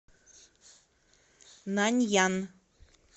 наньян